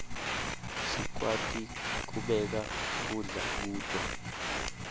sikwati kubeka kudla kuto